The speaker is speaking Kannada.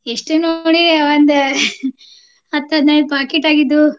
ಎಷ್ಟ್ ನೋಡಿ ಒಂದ್ ಹತ್ತ್ ಹದಿನೈದ್ packet ಆಗಿದ್ವು.